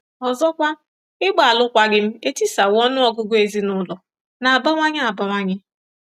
Ọzọkwa, ịgba alụkwaghịm etisawo ọnụ ọgụgụ ezinaụlọ na-abawanye abawanye.